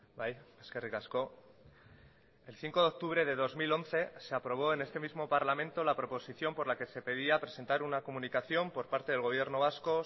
bai eskerrik asko el cinco de octubre de dos mil once se aprobó en este mismo parlamento la proposición por la que se pedía presentar una comunicación por parte del gobierno vasco